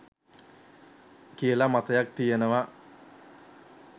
කියල මතයක් තියෙනවා.